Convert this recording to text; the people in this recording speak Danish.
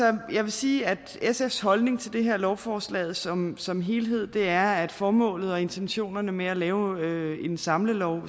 jeg vil sige at sfs holdning til det her lovforslag som som helhed er at både formålet og intentionerne med at lave en samlelov